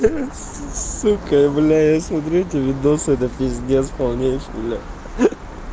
сука блять я смотрю эти видосы это пиздец полнейший блять